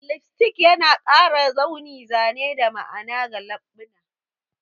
Lipstick yana ƙara launi, zane, da ma'ana ga leɓuna